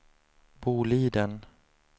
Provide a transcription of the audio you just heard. Boliden